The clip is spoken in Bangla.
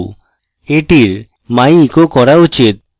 এটির my echo করা উচিত